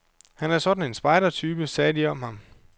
Han er sådan en spejdertype, sagde de om ham.